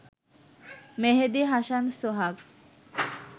মেহেদি Hasan সোহাগ